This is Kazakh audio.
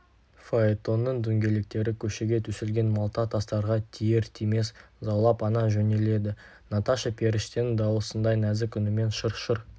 фаэтонның дөңгелектері көшеге төселген малта тастарға тиер-тимес заулап ала жөнеледі наташа періштенің дауысындай нәзік үнімен шыр-шыр